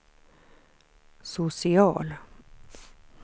social